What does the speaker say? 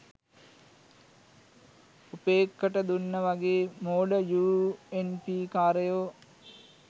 උපේක්කට දුන්න වගේ මෝඩ යූ එන් පී කාරයො